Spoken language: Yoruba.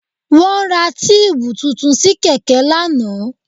Wọ́n ra tíìbù tuntun sí kẹ̀kẹ́ ni lánàá